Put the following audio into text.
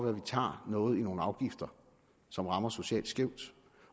at vi tager noget i nogle afgifter som rammer socialt skævt